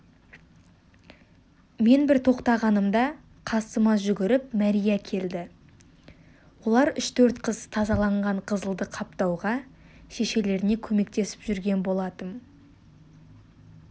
мен бір тоқтағанымда қасыма жүгіріп мәрия келді олар үш-төрт қыз тазаланған қызылды қаптауға шешелеріне көмектесіп жүрген болатым